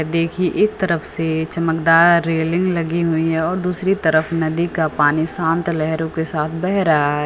देखिए एक तरफ से चमकदार रेलिंग लगी हुई हैं और दूसरी तरफ नदी का पानी शांत लहरों के साथ बह रहा है।